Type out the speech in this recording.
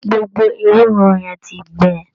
Gbogbo ewúro yẹn ti gbẹ.